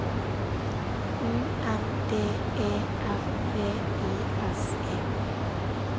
U N D E R V I S E